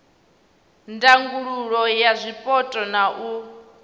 ndangulo ya zwipotso na u